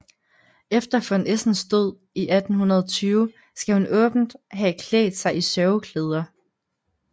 Efter von Essens død 1820 skal hun åbent have klædt sig i sørgeklæder